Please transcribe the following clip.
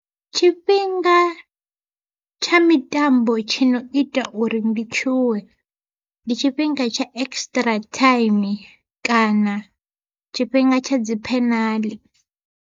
Tshifhinga tsha mitambo tshi no ita uri ndi tshuwe, ndi tshifhinga tsha extra time kana tshifhinga tsha dzi phenaḽi.